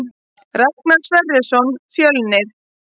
Ragnar Sverrisson Fjölnir